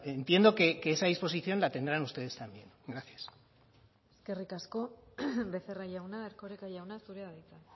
entiendo que esa disposición la tendrán ustedes también gracias eskerrik asko becerra jauna erkoreka jauna zurea da hitza